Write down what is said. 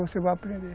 Você vai aprender.